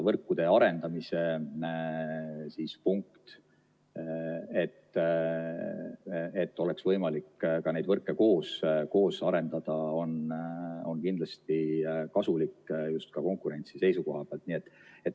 Võrkude arendamise punkt, et oleks võimalik neid võrke koos arendada, on kindlasti kasulik just konkurentsi seisukohalt.